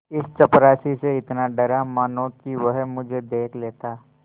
इस चपरासी से इतना डरा मानो कि वह मुझे देख लेता